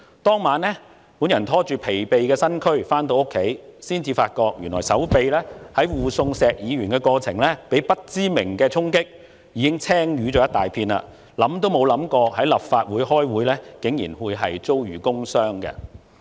當晚我拖着疲憊的身軀回家，才發覺原來我在護送石議員的過程中，手臂被不明衝擊，已經青瘀了一大片，想都沒想過在立法會開會竟然會遭遇"工傷"。